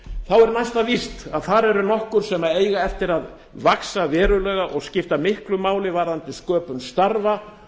er næsta víst að þar eru nokkur sem eiga eftir að vaxa verulega og skipta miklu máli um sköpun starfa